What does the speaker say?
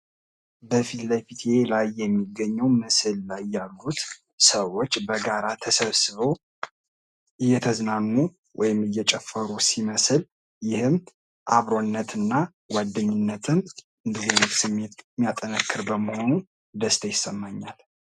በፊትለፊቴ ላይ የሚገኘው ምስል ላይ ያሉት ሰዎች በጋራ ተሰብስበው እየተዝናኑ ወይም እየጨፈሩ ሲመስል ይህም አብሮነትን እና ጓደኝነትን እንዲህ ያለ ስሜት የሚያጠነክር በመሆኑ ደስታ ይሰማኛል ።